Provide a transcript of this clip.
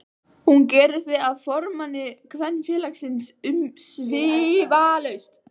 Hún gerir þig að formanni Kvenfélagsins umsvifalaust.